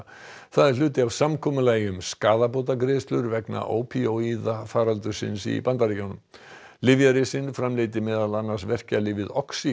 það er hluti af samkomulagi um skaðabótagreiðslur vegna ópíóíða faraldursins í Bandaríkjunum framleiddi meðal annars verkjalyfið